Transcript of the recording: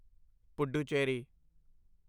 Puducherry